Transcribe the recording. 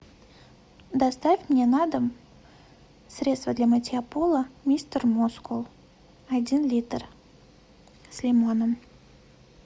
доставь мне на дом средство для мытья пола мистер мускул один литр с лимоном